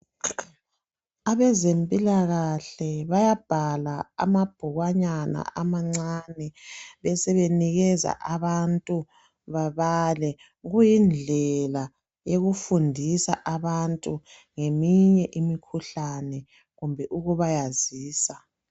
Abezempilakahle bayabhala amabhukwanyana amancane besebenikeza abantu babale kuyindlela eyokufundisa abantu ngeminye imikhuhlane kumbe ukubayazisa.